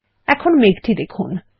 এখন মেঘটি দেখুন